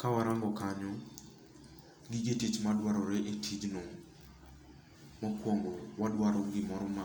Ka warango kanyo, gige tich madwarore e tij no, mokuongo wadwaro gimoro ma